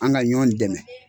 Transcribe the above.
An ga ɲɔ dɛmɛ